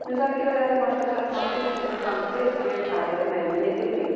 Müzakirələrin başa çatması üçün konkret bir tarix müəyyən edilməyib.